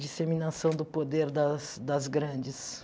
Disseminação do poder das das grandes.